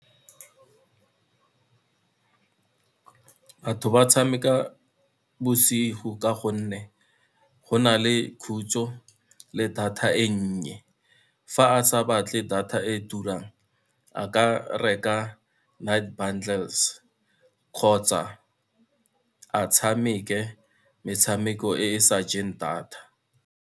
Batho ba tshameka bosigo ka gonne, go na le khutso le data e nnye, fa a sa batle data e turang, a ka reka night bundles kgotsa a tshameke metshameko e e sa jeng data.